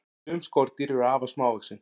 Sum skordýr eru afar smávaxin.